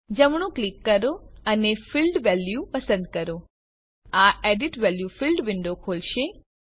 જમણું ક્લિક કરો અને ફિલ્ડ વેલ્યુ પસંદ કરો આ એડિટ વેલ્યુ ફિલ્ડ વિન્ડો ખોલશે